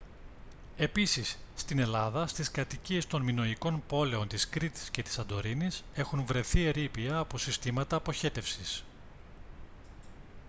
επίσης στην ελλάδα στις κατοικίες των μινωικών πόλεων της κρήτης και της σαντορίνης έχουν βρεθεί ερείπια από συστήματα αποχέτευσης